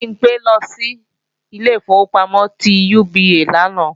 Bimpé lọ sí ilé ìfowópamọ́ ti UBA lánàá